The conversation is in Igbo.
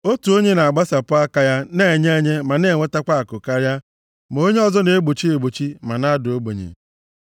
Otu onye na-agbasapụ aka ya na-enye enye ma na-enweta akụ karịa, ma onye ọzọ na-egbochi egbochi ma na-ada ogbenye.